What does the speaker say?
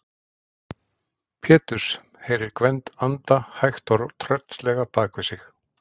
Péturs, heyrir Gvend anda hægt og tröllslega bak við sig.